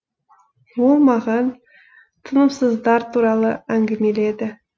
ол маған тынымсыздар туралы әңгімеледі